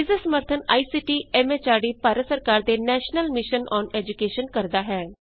ਇਸ ਦਾ ਸਮਰੱਥਨ ਆਈਸੀਟੀ ਐਮ ਐਚਆਰਡੀ ਭਾਰਤ ਸਰਕਾਰ ਦੇ ਨੈਸ਼ਨਲ ਮਿਸ਼ਨ ਅੋਨ ਏਜੂਕੈਸ਼ਨ ਕਰਦਾ ਹੈ